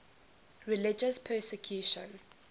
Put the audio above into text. religious persecution